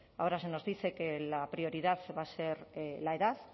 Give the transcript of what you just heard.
ahora se nos dice que la prioridad va a ser la edad